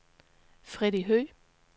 Freddy Høgh